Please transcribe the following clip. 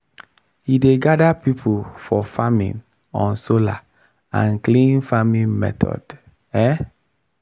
he dey gather people for training on solar and clean farming method. um